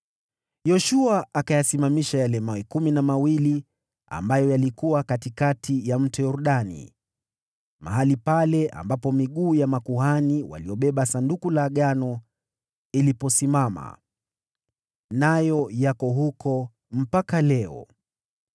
Yoshua akayasimamisha yale mawe kumi na mawili ambayo yalikuwa katikati ya Mto Yordani, mahali pale ambapo miguu ya makuhani waliobeba Sanduku la Agano iliposimama. Nayo yako huko mpaka leo.